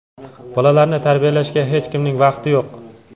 Bolalarni tarbiyalashga hech kimning vaqti yo‘q.